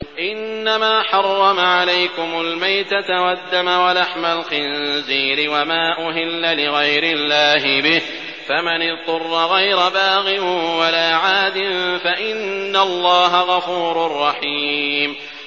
إِنَّمَا حَرَّمَ عَلَيْكُمُ الْمَيْتَةَ وَالدَّمَ وَلَحْمَ الْخِنزِيرِ وَمَا أُهِلَّ لِغَيْرِ اللَّهِ بِهِ ۖ فَمَنِ اضْطُرَّ غَيْرَ بَاغٍ وَلَا عَادٍ فَإِنَّ اللَّهَ غَفُورٌ رَّحِيمٌ